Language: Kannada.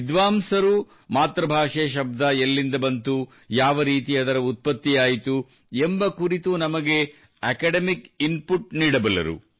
ವಿದ್ವಾಂಸರು ಮಾತೃಭಾಷೆ ಶಬ್ದ ಎಲ್ಲಿಂದ ಬಂದಿತು ಯಾವರೀತಿ ಅದರ ಉತ್ಪತ್ತಿಯಾಯಿತು ಎಂಬ ಕುರಿತು ಬಹಳ ಅಕಾಡಮಿಕ್ ಇನ್ ಪುಟ್ ನೀಡಬಲ್ಲರು